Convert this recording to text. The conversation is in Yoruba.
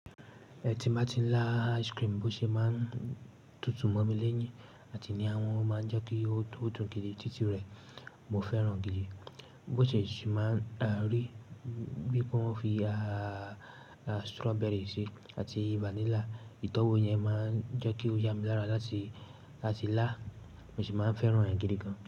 Tí n bà ti ń lá ice cream, bi ósè mà ń tutù mọ́ mi léyìn àti ní àwọn o mà ń jẹ́ kí ó dun gidi títí rẹ̀. Mo fẹ́ràn gidi. Bósè sì mà ń rí bí pe wọ́n fi, strawberry sí àti vanilla. Ìtọ́wo yẹn mà ń jẹ́ kí ó yà mí lára láti, láti là. Mo sì má ń fẹ́ràn ẹ̀ gidi gan.